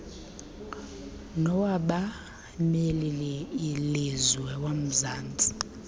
nowabameli lizwe womzantsi